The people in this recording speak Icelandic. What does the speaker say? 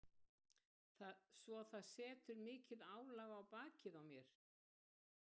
Svo það setur mikið álag á bakið á mér.